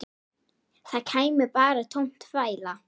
Það kæmi bara tóm þvæla.